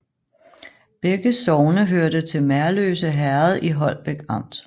Begge sogne hørte til Merløse Herred i Holbæk Amt